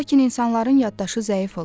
Lakin insanların yaddaşı zəif olur.